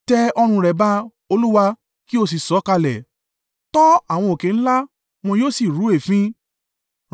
Tẹ ọ̀run rẹ ba, Olúwa, kí o sì sọ̀kalẹ̀; tọ́ àwọn òkè ńlá wọn yóò sí rú èéfín.